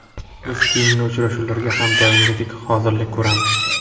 Biz keyingi uchrashuvlarga ham doimgidek hozirlik ko‘ramiz.